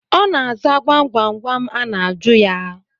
Ọ na-aza gwam gwam a na-ajụ ya